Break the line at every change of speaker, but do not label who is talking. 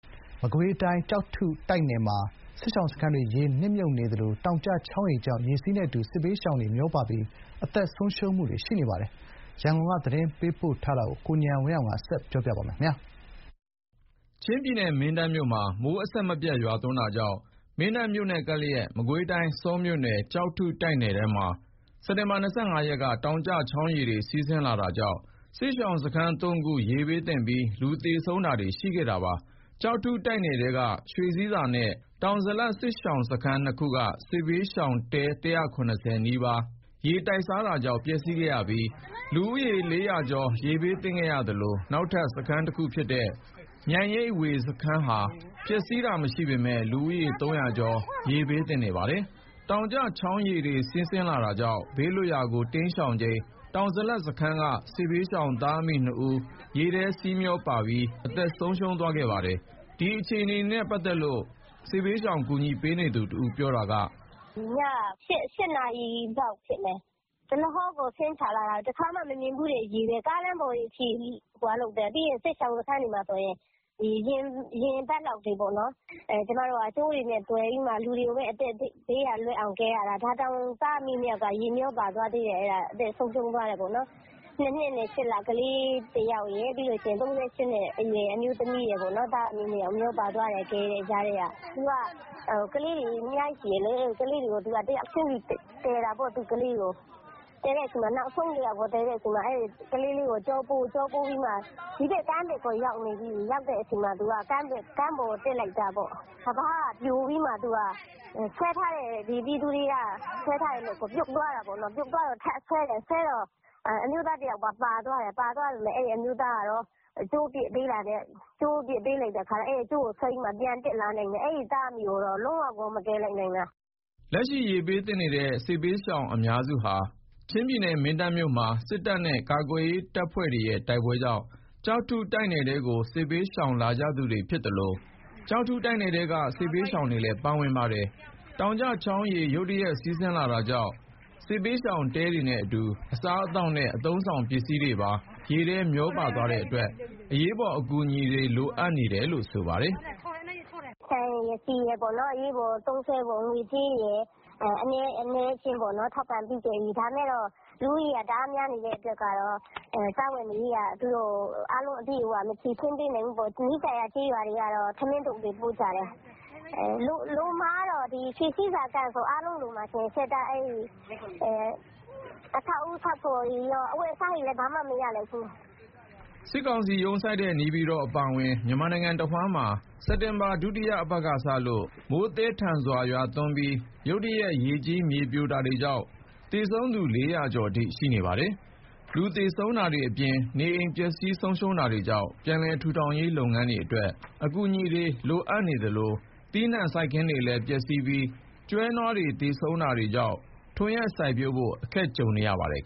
မကွေးတိုင်း ကျောက်ထုတိုက်နယ်မှာ စစ်ရှောင်စခန်းတွေ ရေနစ်မြုပ်နေသလို တောင်ကျချောင်းရေကြောင့် ရေစီးနဲ့အတူ စစ်ဘေးရှောင်တွေ မျောပါပြီး အသက်ဆုံးရှုံးနေပါတယ်။ ကျောက်ထုတိုက်နယ်ထဲက စစ်ဘေးရှောင် အခြေအနေတွေ ရန်ကုန်ဘက်က သတင်းပေးပို့ထားတာကို ကိုဉာဏ်ဝင်းအောင်က တင်ပြပေးထားပါတယ်။ ချင်းပြည်နယ် မင်းတပ်မြို့မှာ မိုးအဆက်မပြတ်ရွာသွန်းတာကြောင့် မင်းတပ်မြို့နဲ့ကပ်လျက်က မကွေးတိုင်း ဆောမြို့နယ် ကျောက်ထုတိုက်နယ်ထဲမှာ စက်တင်ဘာ ၂၅ ရက်က တောင်ကျချောင်းရေတွေ စီးဆင်းလာတာကြောင့် စစ်ရှောင်စခန်း ၃ ခု ရေဘေးသင့်ပြီး လူသေဆုံးတာတွေရှိခဲ့ပါတယ်။ ကျောက်ထုတိုက်နယ်ထဲက ရွှေဆည်းဆာ နဲ့ တောင်ဇလပ် စစ်ရှောင်စခန်းနှသ်ခုက စစ်ဘေးရှောင် တဲ ၁၇၀ နီးပါးဟာရေတိုက်စားတာကြောင့် ပျက်စီးခဲ့ရပြီး လူဦးရေ ၄၀၀ ကျော် ရေဘေးသင့်နေသလို နောက်ထပ်စခန်းတခုဖြစ်တဲ့ မြိုင်ရိပ်ဝေစခန်းဟာ ပျက်စီးတာမရှိပေမယ့် လူဦးရေ ၃၀၀ ကျော် ရေဘေးသင့်နေပါတယ်။ တောင်ကျချောင်းရေတွေစီးနေတာကြောင့် ဘေးလွတ်ရာကို တိမ်းရှောင်ချိန် တောင်ဇလပ်စခန်းက စစ်ဘေးရှောင်သားအမိ ၂ ဦး ရေစီးထဲမျောပါပြီး အသက်ဆုံးပါးသွားပါတယ်။ ဒီအခြေအနေနဲ့ ပတ်သက်လို့ စစ်ဘေးရှောင်ကူညီပေးနေသူတဦးက အခုလိုပြောပါတယ်
။ "ည ၈ နာရီလောက်ဖြစ်မယ်။ ရေတွေက ဒလဟောဆင်းချလာတာ။ တခါမှ မမြင်ဖူးတဲ့ရေတွေက ကားလမ်းပေါ်တွေအထိ၊ ပြီးတော့ စစ်ရှောင် စခန်းတွေမှာဆိုရင် ရေတွေက ရင်ဘတ်လောက်တွေပေါ့နော်။ ကျမတို့က ကြိုးတွေနဲ့သွယ်ပြီးလူတွေကို အသက်ဘေးက လွတ်အောင် ကယ်ရတာ။ ဒါတောင် သားအမိ ၂ ယောက်က ရေမျောပါသွားသေးတယ်။အသက်ဆုံးရှုံးသွားတယ်ပေါ့နော်။ ၂ နှစ်နဲ့ ၈ လ ကလေးတယောက်ရယ်။ ၃၈ နှစ်အရွယ် အမျိုးသမီးရယ်ပေါ့နော်။သားအမိ ၂ ယောက်မျောပါသွားတယ်။ ကယ်နေတဲ့ကြားထဲက။ သူက ကလေး ၂ ယောက်ရှိတယ်လေ။ ကလေးတွေကိုတယောက်ချင်းစီကယ်တာပေါ့။ သူ့ကလေးတွေကို နောက်ဆုံးတယောက်ကို ကယ်တဲ့အချိန်မှာ ကလေးလေးကိုကျောပိုးပြီး ဒီဘက်ကကမ်းဘက်ကို ရောက်နေပြီ။ ရောက်တဲ့အချိန် ကမ်းပေါ်ကို တက်လိုက်တာပေါ့။ ကမ်းပါးက ပြိုပြီးမှဆွဲထားတဲ့ ပြည်သူတွေက ဆွဲထားတဲ့လက်ကို ပြုတ်သွားတာပေါ့နော်။ ပြုတ်သွားတော့ ထပ်ဆွဲတော့ အမျိုးသားတယောက်ပါ ပါသွားတယ်။ အဲ့အမျိုးသားကတော့ ကြိုးပစ်ပေးတာနဲ့ အဲ့ကြိုးကိုဆွဲပြီး ပြန်တက်လာနိုင်တယ်။ အဲ့သားအမိကိုတော့ လုံးဝကို မကယ်လိုက်နိုင်တော့တာ။
" လက်ရှိ ရေဘေးသင့်နေတဲ့ စစ်ဘေးရှောင်အများစုဟာ ချင်းပြည်နယ်မင်းတပ်မြို့မှာ စစ်တပ်နဲ့ ကာကွယ်ရေးတပ်ဖွဲ့တွေရဲ့ တိုက်ပွဲကြောင့် ကျောက်ထုတိုက်နယ်ထဲကို စစ်ဘေးရှောင်လာကြသူတွေဖြစ်သလို ကျောက်ထုတိုက်နယ်ထဲက စစ်ဘေးရှောင်တွေလည်း ပါဝင်ပါတယ်။ တောင်ကျချောင်းရေ ရုတ်တရက်စီးလာတာကြောင့် စစ်ဘေးရှောင်တဲတွေနဲ့အတူ အစားအသောက်နဲ့ အသုံးအဆောင်တွေပါ ရေနဲ့မျောပါသွားတဲ့အတွက် အရေးပေါ်အကူအညီတွေ လိုအပ်နေပါတယ်။
"ဆန်ရယ် ဆီရယ် အနည်းအကျဉ်းတော့ ထောက်ပံ့ပေးခဲ့ပြီ။ ဒါပေမယ့် လူဦးရေက တအားများနေတဲ့အတွက်က စားဝတ်နေရေးက အားလုံးအပြည့်အ၀ မဖြေရှင်းပေးနိုင်ဘူးပေါ့။ နီးစပ်ရာ ကျေးရွာတွေကတော့ ထမင်းထုပ်တွေ ပို့ကြတယ်။ လိုမှာကတော့ ရွှေဆည်းဆာ စခန်းဆို အားလုံးလိုမှာ။ အဆောက်အဦးဆောက်ဖို့တွေကော၊ အဝတ်အစားတွေဆိုဘာမှ မရလိုက်ဘူး။"
စစ်ကောင်စီရုံးစိုက်တဲ့ နေပြည်တော်အပါအဝင် မြန်မာနိုင်ငံတဝှမ်းမှာ စက်တင်ဘာ ဒုတိယအပတ်ကစလို့ မိုးသည်းထန်စွာရွာသွန်းပြီး ရုတ်တရက် ရေကြီးမြေပြိုတာတွေကြောင့် သေဆုံးသူ ၄၀၀ ကျော်အထိ ရှိနေပါတယ်။ လူသေဆုံးတာတွေအပြင် နေအိမ်တွေပျက်စီးဆုံးရှုံးတာကြောင့် ပြန်လည်ထူထောင်ရေးအတွက် အကူအညီတွေ လိုအပ်နေသလို သီးနှံစိုက်ခင်းတွေပျက်စီးပြီး ကျွဲနွားတွေသေဆုံးတာတွေကြောင့် ထွန်ယက်စိုက်ပျိုးဖို့ အခက်တွေ့နေပါတယ်။